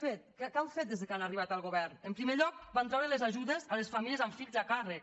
què han fet des que han arribat al govern en primer lloc van treure les ajudes a les famílies amb fills a càrrec